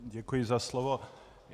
Děkuji za slovo.